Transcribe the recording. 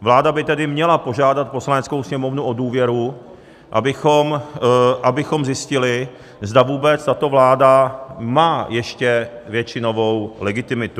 Vláda by tedy měla požádat Poslaneckou sněmovnu o důvěru, abychom zjistili, zda vůbec tato vláda má ještě většinovou legitimitu.